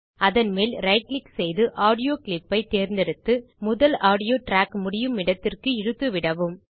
அதன் மேல் right click செய்து ஆடியோ கிளிப் ஐ தேர்ந்தெடுத்து முதல் ஆடியோ ட்ராக் முடியுமிடத்திற்கு இழுத்து விடவும்